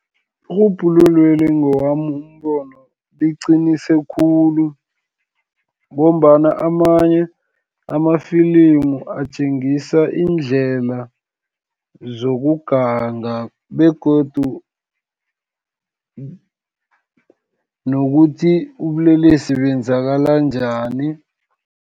Irhubhululweli ngewami umbono, liqinise khulu, ngombana amanye amafilimu atjengisa iindlela zokuganga, begodu nokuthi ubulelesi benzakala njani.